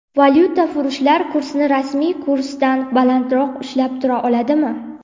Valyutafurushlar kursni rasmiy kursdan balandroq ushlab tura oladimi?